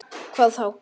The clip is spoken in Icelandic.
Hvað þá?